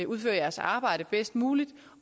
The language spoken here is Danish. udføre deres arbejde bedst muligt